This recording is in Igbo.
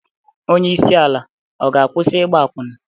Onye isi ala ọ ga-akwụsị ịgba akwụna?